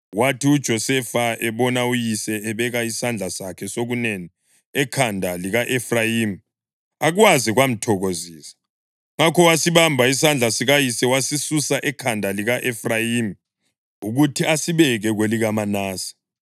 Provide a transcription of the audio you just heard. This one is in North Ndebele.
Kwathi uJosefa ebona uyise ebeka isandla sakhe sokunene ekhanda lika-Efrayimi akwaze kwamthokozisa; ngakho wasibamba isandla sikayise wasisusa ekhanda lika-Efrayimi ukuthi asibeke kwelikaManase.